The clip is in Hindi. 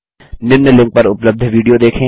निम्न लिंक पर उपलब्ध विडियो देखें